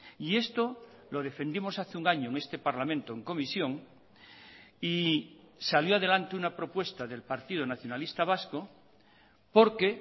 y esto lo defendimos hace un año en este parlamento en comisión y salió adelante una propuesta del partido nacionalista vasco porque